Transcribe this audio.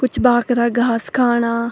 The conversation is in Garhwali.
कुछ भाख्रा घास खाणा।